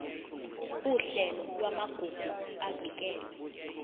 uhlelo lwamagugu avikelwe